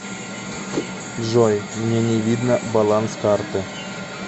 джой мне не видно баланс карты